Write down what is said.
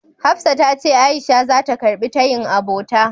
Hafsat tace A'isha zata karɓi tayin abota.